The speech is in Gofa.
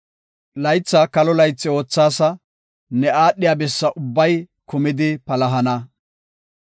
Laytha kalo laythi oothaasa; ne aadhiya bessa ubbay kumidi palahana.